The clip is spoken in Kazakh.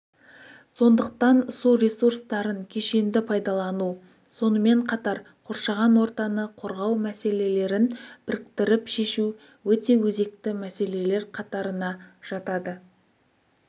сондықтан су ресурстарын кешенді пайдалану сонымен қатар қоршаған ортаны қорғау мәселелерін біріктіріп шешу өте өзекті мәселелер қатарына жатады